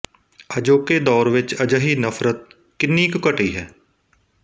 ਅਜੋਕੇ ਦੌਰ ਵਿਚ ਅਜਿਹੀ ਨਫਰਤ ਕਿੰਨੀ ਕੁ ਘਟੀ ਹੈ